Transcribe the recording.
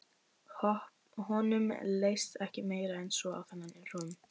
Honum leist ekki meira en svo á þennan rum.